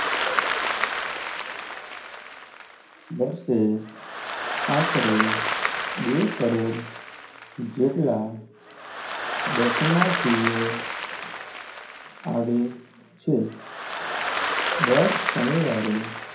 વર્ષે આશરે બે કરોડ દર્શનાથિઓ આવે છે? દર શનિવારે,